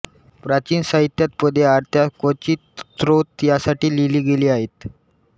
प्राचीन साहित्यात पदे आरत्या क्वचित स्तोत्र यासाठी लिहिली गेली आहेत